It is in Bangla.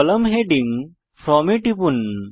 কলাম হেডিং ফ্রম এ টিপুন